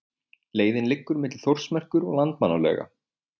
Leiðin liggur milli Þórsmerkur og Landmannalauga.